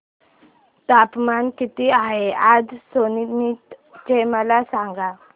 तापमान किती आहे आज सोनीपत चे मला सांगा